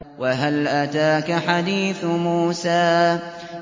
وَهَلْ أَتَاكَ حَدِيثُ مُوسَىٰ